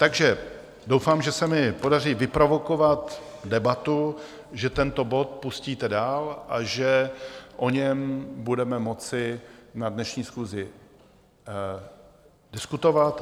Takže doufám, že se mi podaří vyprovokovat debatu, že tento bod pustíte dál a že o něm budeme moci na dnešní schůzi diskutovat.